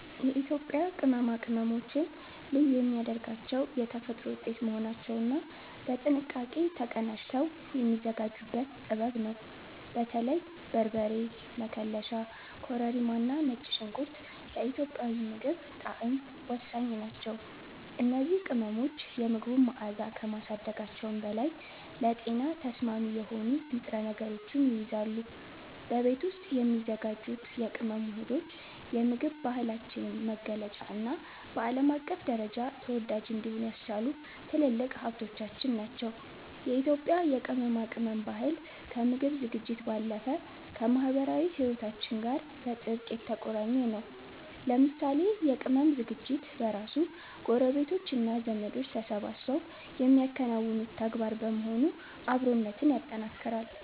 የኢትዮጵያ ቅመማ ቅመሞችን ልዩ የሚያደርጋቸው የተፈጥሮ ውጤት መሆናቸውና በጥንቃቄ ተቀናጅተው የሚዘጋጁበት ጥበብ ነው። በተለይም በርበሬ፣ መከለሻ፣ ኮረሪማና ነጭ ሽንኩርት ለኢትዮጵያዊ ምግብ ጣዕም ወሳኝ ናቸው። እነዚህ ቅመሞች የምግቡን መዓዛ ከማሳደጋቸውም በላይ ለጤና ተስማሚ የሆኑ ንጥረ ነገሮችን ይይዛሉ። በቤት ውስጥ የሚዘጋጁት የቅመም ውህዶች የምግብ ባህላችንን መገለጫና በዓለም አቀፍ ደረጃ ተወዳጅ እንዲሆን ያስቻሉ ትልልቅ ሀብቶቻችን ናቸው። የኢትዮጵያ የቅመማ ቅመም ባህል ከምግብ ዝግጅት ባለፈ ከማኅበራዊ ሕይወታችን ጋር በጥብቅ የተቆራኘ ነው። ለምሳሌ የቅመም ዝግጅት በራሱ ጎረቤቶችና ዘመዶች ተሰባስበው የሚያከናውኑት ተግባር በመሆኑ አብሮነትን ያጠናክራል።